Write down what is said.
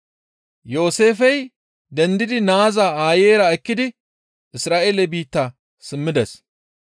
Yooseefey dendidi naaza aayeyra ekkidi Isra7eele biitta simmides.